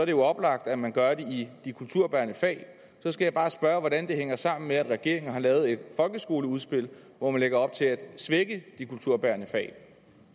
jo oplagt at man gør det i de kulturbærende fag så skal jeg bare spørge hvordan det hænger sammen med at regeringen har lavet et folkeskoleudspil hvor man lægger op til at svække de kulturbærende fag